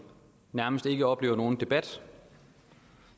nærmest ikke oplever nogen debat